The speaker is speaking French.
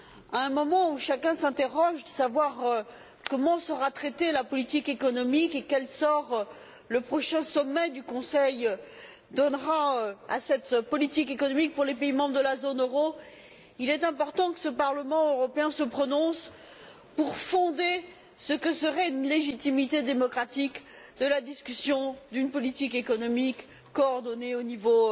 À un moment où chacun s'interroge sur la façon dont sera traitée la politique économique et sur le sort que le prochain sommet du Conseil réserve à cette politique économique pour les pays membres de la zone euro, il est important que ce Parlement européen se prononce pour fonder ce que serait une légitimité démocratique de la discussion d'une politique économique coordonnée au niveau